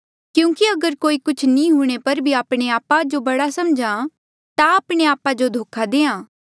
क्यूंकि अगर कोई कुछ नी हूंणे पर भी आपणे आपा जो बड़ा सम्झहा ता आपणे आपा जो धोखा देहां